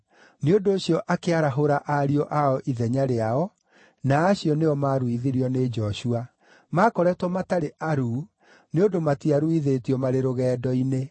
Nĩ ũndũ ũcio akĩarahũra ariũ ao ithenya rĩao, na acio nĩo maaruithirio nĩ Joshua. Maakoretwo matarĩ aruu nĩ ũndũ matiaruithĩtio marĩ rũgendo-inĩ.